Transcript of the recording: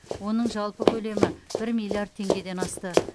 оның жалпы көлемі бір миллиард тенгеден асты